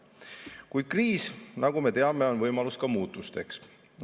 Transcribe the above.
Samas on kriis, nagu me teame, ka võimalus muutusteks.